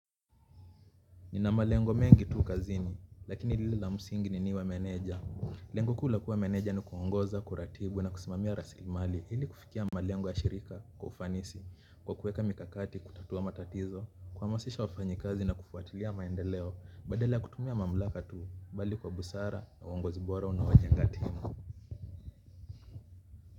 Nina malengo mengi tu kazini lakini lile la msingi ni niwe meneja. Lengo kuu la kuwa meneja ni kuongoza kuratibu na kusimamia rasimali ili kufikia malengo ya shirika kwa ufanisi kwa kuweka mikakati kutatua matatizo. Kuhamasisha wafanyikazi na kufuatilia maendeleo badala ya kutumia mamlaka tu bali kwa busara na uongozi bora unaojenga timu.